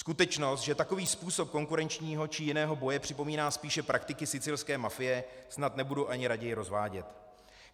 Skutečnost, že takový způsob konkurenčního či jiného boje připomíná spíš praktiky sicilské mafie, snad nebudu ani raději rozvádět.